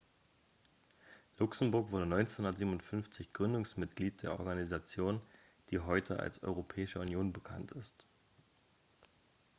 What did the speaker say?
luxemburg wurde 1957 gründungsmitglied der organisation die heute als europäische union bekannt ist